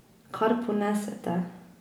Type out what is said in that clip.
Kar ponese te.